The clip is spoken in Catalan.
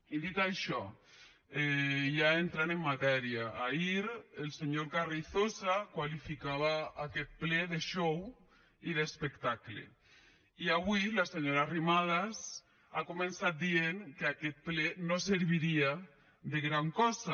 i dit això ja entrant en matèria ahir el senyor carrizosa qualificava aquest ple de xou i d’espectacle i avui la senyora arrimadas ha començat dient que aquest ple no serviria de gran cosa